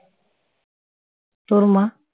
তোর মা